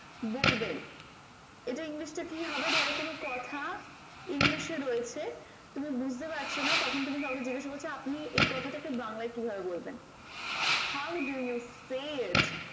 বলবেন এটা english টা কি হবে ধরো কোনো কথা english এ রয়েছে তুমি বুঝতে পারছোনা তখন তুমি কাউকে জিজ্ঞাসা করছো আপনি এই কথাটাকে বাংলায় কি ভাবে বলবেন how do you say